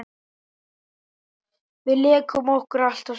Við lékum okkur alltaf saman.